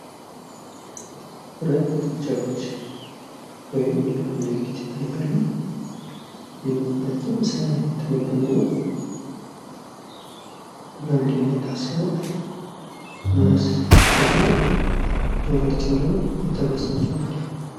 ሁለት ጥጃዎች ወይም የላም ልጆች ይታያሉ። ሁለቱም ሳር እየተመገቡ ነው። ለምንድን ነው የታሰሩት? እናስ ደሞ ጆሯቸው ላይ የተበሱት ለምንድን ነው?